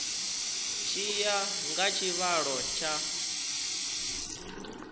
tshi ya nga tshivhalo tsha